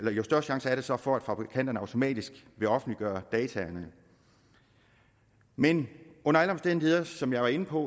og jo større chance er der så for at fabrikanterne automatisk vil offentliggøre dataene men under alle omstændigheder som jeg var inde på